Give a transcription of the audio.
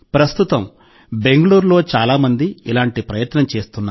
ప్రస్తుతం బెంగళూరులో చాలా మంది ఇలాంటి ప్రయత్నం చేస్తున్నారు